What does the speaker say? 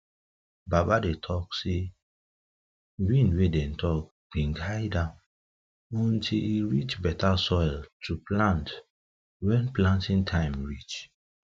baba dey um talk sey wind wey dey talk been guide am until em reach better soil to plant wen planting time reach